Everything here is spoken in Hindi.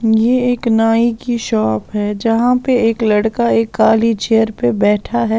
ये एक नाई की शॉप है जहां पर एक लड़का एक काली चेयर पर बैठा है।